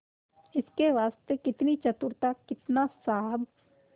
इसके वास्ते कितनी चतुरता कितना साहब